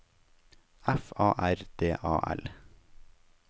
F A R D A L